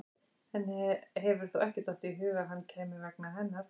Henni hefur þó ekki dottið í hug að hann kæmi hennar vegna?